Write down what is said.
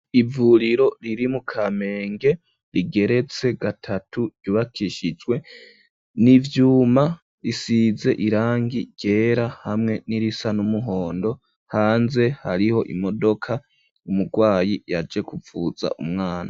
Ivuriro riri mu kamenge rigeretse gatatu, ryubakishijwe n'ivyuma ,risize irangi ryera, hamwe n'irisa n'umuhondo, hanze hariho imodoka ,umurwayi yaje guvuza umwana.